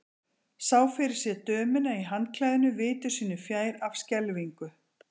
Sá fyrir sér dömuna í handklæðinu viti sínu fjær af skelfingu.